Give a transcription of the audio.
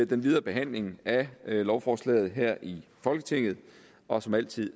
den videre behandling af lovforslaget her i folketinget og som altid